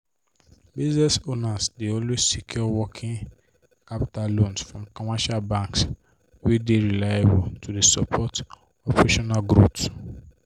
business owners dey always secure working capital loans from commercial banks wey dey reliable to dey support operational growth.